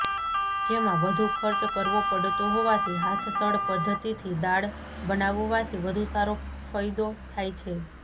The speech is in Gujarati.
જેમાં વધુ ખર્ચ કરવો પડતો હોવાથી હાથસળ પદ્ધતિથી દાળ બનાવવાથી વધુ સારો ફયદો થાય છે